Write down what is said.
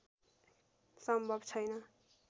सम्भव छैन